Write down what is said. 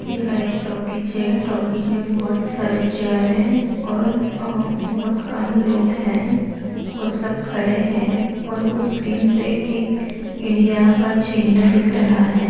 यह एक टॉकीज है टॉकीज मे बहुत सारे चेअर है और अ-बहुत कम लोग है और सब खड़े है और वो स्क्रीन पे एक इंडिया का झेंडा दिख रहा है।